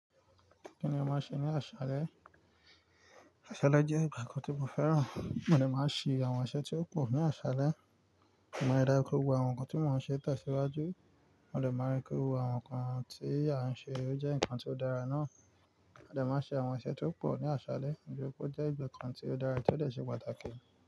Kíni o máa ṣe ní àṣálẹ́? Àṣálẹ́ jẹ́ ìgbà kan tí mo fẹ́ràn. Mo dẹ́ máa n ṣe àwọn iṣẹ́ tí ó pò ní àṣálẹ́. Mo lè dára kúrò ki gbogbo àwọn nǹkan tí mò ń ṣe tẹ̀síwájú. Mo dẹ máa rí pé gbogbo àwọn nǹkan tí à ń ṣe ó jẹ́ nǹkan tí ó dára náà. Mó dẹ máa ṣe àwọn iṣẹ́ tí ó pò ní àṣálẹ́, nitóri pé ó jẹ́ ìgbà kan tí ó dára tí ó dẹ ṣe pàtàkì.